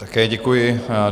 Také děkuji.